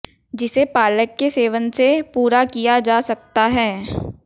जिसे पालक के सेवन से पूरा किया जा सकता है